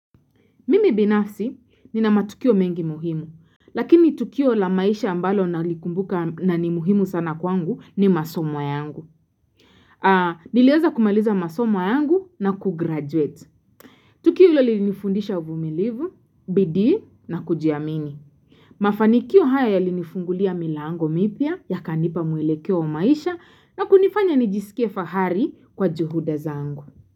Mimi binafsi nina matukio mengi muhimu, lakini tukio la maisha ambalo na likumbuka na ni muhimu sana kwangu ni masomo yangu. Niwenza kumaliza masoma yangu na kugraduate. Tukio ilo linifundisha uvumilivu, bidii na kujiamini. Mafanikio haya yalinifungulia milango mipya ya kanipa mwelekea wa maisha na kunifanya nijisikia fahari kwa juhuda zangu.